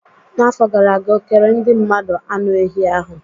N'afọ gara aga, okere ndị mmadụ anụ ehi ahụ.